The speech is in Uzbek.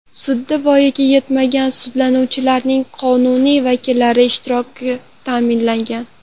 Sudda voyaga yetmagan sudlanuvchilarning qonuniy vakillari ishtiroki ta’minlangan.